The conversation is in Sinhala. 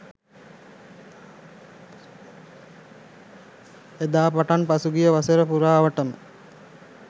එදා පටන් පසුගිය වසරපුරාවට ම